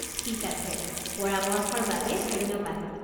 ঠিক আছে, পৰামৰ্শৰ বাবে ধন্যবাদ!